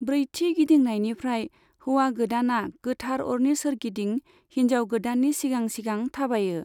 ब्रैथि गिदिंनायनिफ्राय, हौवा गोदाना गोथार अरनि सोरगिदिं हिनजाव गोदाननि सिगां सिगां थाबायो।